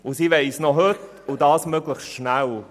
Und sie wollen es noch heute und das möglichst schnell.